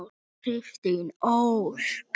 Kristín Ósk.